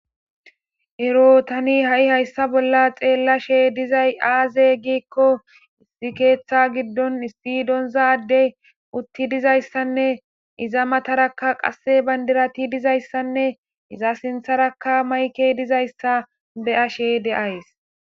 Ero tani ha'i hayssa bolla xeellashe dizay aaze giikko issi keeththa giddon issidonzade utti dizayssanne iza matarakka qasse bandirati dizayssanne iza sintharakka mayke dizayssa beyashe de'ays